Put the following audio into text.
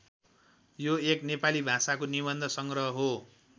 यो एक नेपाली भाषाको निबन्ध सङ्ग्रह हो।